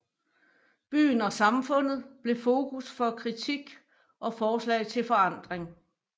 Byen og samfundet blev fokus for kritik og forslag til forandring